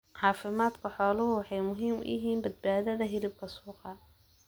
Caafimaadka xooluhu waxay muhiim u yihiin badbaadada hilibka suuqa.